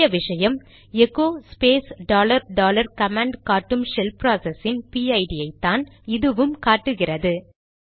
முக்கிய விஷயம் echo space dollar dollar command காட்டும் ஷெல் ப்ராசஸ் இன் பிஐடிPID ஐ தான் இதுவும் காட்டுகிறது